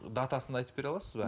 датасын айтып бере аласыз ба